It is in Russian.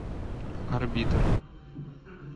орбитр